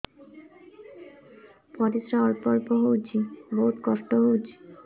ପରିଶ୍ରା ଅଳ୍ପ ଅଳ୍ପ ହଉଚି ବହୁତ କଷ୍ଟ ହଉଚି